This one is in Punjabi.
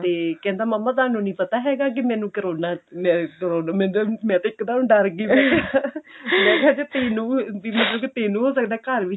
ਤੇ ਕਹਿੰਦਾ ਮੰਮਾ ਤੁਹਾਨੂੰ ਨਹੀਂ ਪਤਾ ਹੈਗਾ ਕੀ ਮੈਨੂ ਕਰੋਨਾ ਮੈਂ ਮੈਂ ਤੇ ਮੈਂ ਤੇ ਇੱਕ ਦਮ ਡਰ ਗਈ ਮੈਂ ਕਿਹਾ ਤੈਨੂੰ ਬੀ ਮਤਲਬ ਤੈਨੂੰ ਹੋ ਸਕਦਾ ਘਰ ਵਿੱਚ